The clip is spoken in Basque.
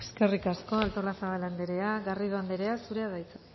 eskerrik asko artolazabal andrea garrido andrea zurea da hitza